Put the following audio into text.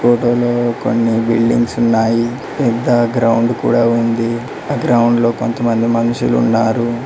ఫొటోలో కొన్ని బిల్డింగ్స్ ఉన్నాయి పెద్ద గ్రౌండ్ కూడ ఉంది ఆ గ్రౌండ్ లో కొంతమంది మనుషులు ఉన్నారు.